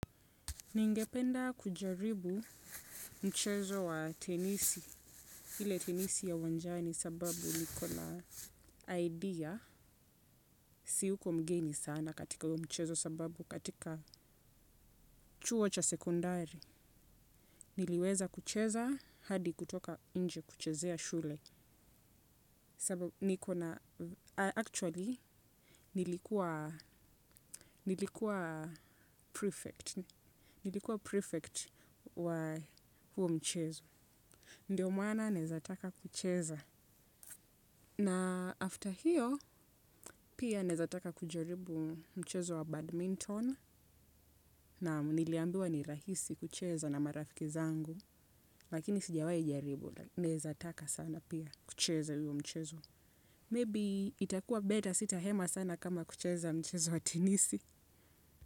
Ningependa kujaribu mchezo wa tenisi, hile tenisi ya uwanjani sababu nikona idea, siuko mgeni sana katika mchezo sababu katika chuo cha sekondari. Niliweza kucheza hadi kutoka inje kuchezea shule sababu nikona, actually nilikuwa prefect wa mchezo. Ndiyo mwana nezataka kucheza. Na after hiyo, pia nezataka kujaribu mchezo wa badminton. Na niliambiwa ni rahisi kucheza na marafiki zangu. Lakini sijawai jaribu, nezataka sana pia kucheza iyo mchezo. Maybe itakua beta sita hema sana kama kucheza mchezo wa tenisi.